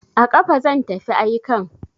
A kafa zan tafi aikan.